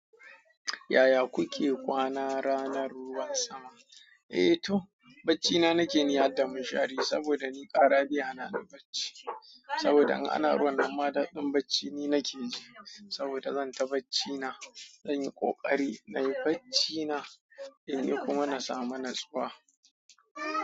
Yaya kuke kwana ranar ruwan sama? Eh toh, baccina nake ni har da munshari saboda ni ƙara baya na da bacci. Saboda in ana rawannan ma daɗin bacci ni nake ji. Saboda zan ta bacci na, zan yi ƙoƙari nayi bacci na, in yi kuma na samu natsuwa.